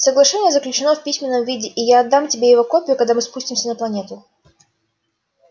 соглашение заключено в письменном виде и я отдам тебе его копию когда мы спустимся на планету